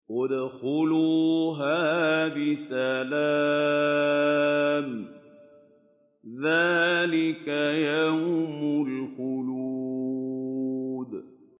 ادْخُلُوهَا بِسَلَامٍ ۖ ذَٰلِكَ يَوْمُ الْخُلُودِ